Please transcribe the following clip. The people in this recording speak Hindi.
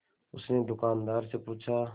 उसने दुकानदार से पूछा